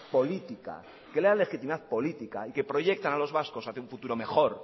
política y que proyectan a los vascos hacia un futuro mejor